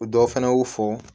Dɔ fana y'u fɔ